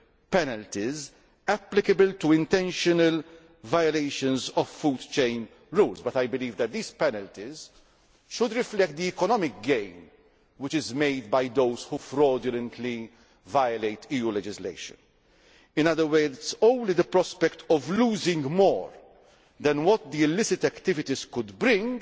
penalties applicable to intentional violations of food chain rules but I believe that these penalties should reflect the economic gain which is made by those who fraudulently violate EU legislation. In other words, only the prospect of losing more than what the illicit activities could